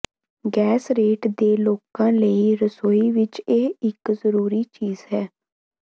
ਗੈਸਰੇਟ ਦੇ ਲੋਕਾਂ ਲਈ ਰਸੋਈ ਵਿਚ ਇਹ ਇਕ ਜ਼ਰੂਰੀ ਚੀਜ਼ ਹੈ